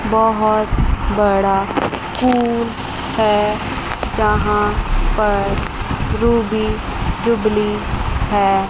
बहुत बड़ा स्कूल है यहां पर रूबी जुबली है।